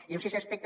i un sisè aspecte